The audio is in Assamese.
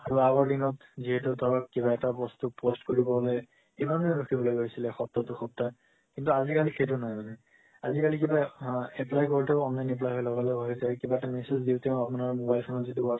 আৰু আগৰ দিনত যেহেতু তলত কিবা এটা বস্তু post কৰিব হলে কিমান দিন ৰোখিব লগা হৈছিলে সপ্তাহ দুসপ্তাহ কিন্তু আজি-কালি সেইটো নাই মানে আজি-কালি কিবা আ apply কৰোতেও online apply হয় আৰু লগ লগ হয় এতিয়া কিবা এটা massage দি তেও আপুনাৰ mobile খন যদি WhatsApp